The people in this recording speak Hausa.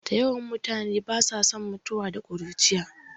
Da yawan mutane ba sa son mutuwa da ƙuruciya